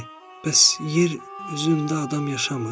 Bəs yer üzündə adam yaşamır?